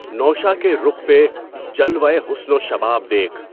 نوشہؔ کے رُخ پہ جلوۂ حُسن و شباب دیکھ